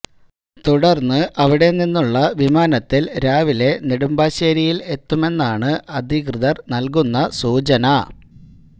തുടര്ന്ന് അവിടെനിന്നുള്ള വിമാനത്തില് രാവിലെ നെടുമ്പാശേരിയില് എത്തുമെന്നാണ് അധികൃതര് നല്കുന്ന സൂചന